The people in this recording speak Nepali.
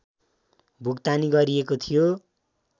भुक्तानी गरिएको थियो